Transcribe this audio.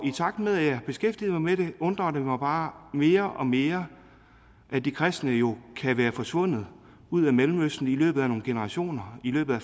takt med jeg har beskæftiget mig med det undrer det mig bare mere og mere at de kristne jo kan være forsvundet ud af mellemøsten i løbet af nogle generationer i løbet af